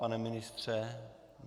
Pane ministře?